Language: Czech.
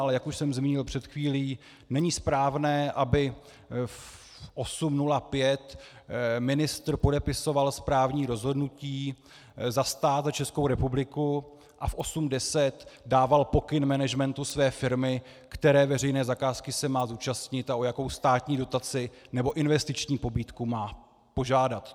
Ale jak už jsem zmínil před chvílí, není správné, aby v 8.05 ministr podepisoval správní rozhodnutí za stát a Českou republiku a v 8.10 dával pokyn managementu své firmy, které veřejné zakázky se má zúčastnit a o jaku státní dotaci nebo investiční pobídku má požádat.